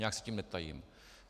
Nijak se tím netajím.